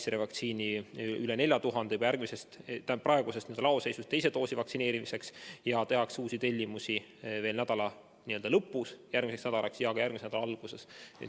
Pfizeri vaktsiini on üle 4000 doosi praegusest laoseisust teise doosi süstimiseks ning uus tellimus tehakse selle nädala lõpus järgmiseks nädalaks ja ka järgmise nädala alguses.